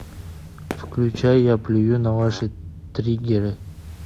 включай я плюю на ваши триггеры